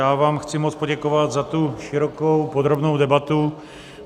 Já vám chci moc poděkovat za tu širokou, podrobnou debatu.